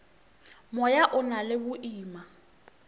moya o na le boima